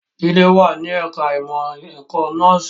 Jide wà ní ẹ̀ka ìmọ̀ ẹ̀kọ́ nọ́ọ̀sì